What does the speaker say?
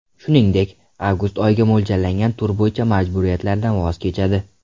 Shuningdek, avgust oyiga mo‘ljallangan tur bo‘yicha majburiyatlaridan voz kechadi.